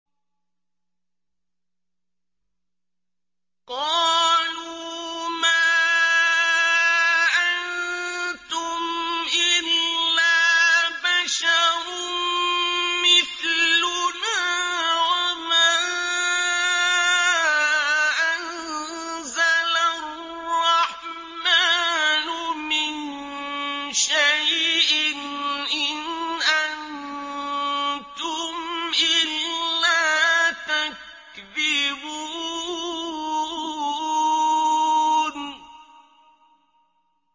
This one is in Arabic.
قَالُوا مَا أَنتُمْ إِلَّا بَشَرٌ مِّثْلُنَا وَمَا أَنزَلَ الرَّحْمَٰنُ مِن شَيْءٍ إِنْ أَنتُمْ إِلَّا تَكْذِبُونَ